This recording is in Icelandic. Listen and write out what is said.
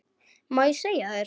Má ég segja þér.